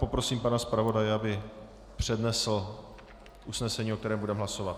Poprosím pana zpravodaje, aby přednesl usnesení, o kterém budeme hlasovat.